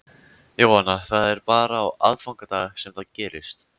Jóhanna: Það er bara á aðfangadag sem það gerist?